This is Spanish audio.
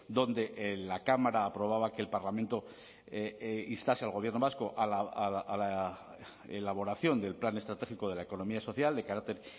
donde la cámara aprobaba que el parlamento instase al gobierno vasco a la elaboración del plan estratégico de la economía social de carácter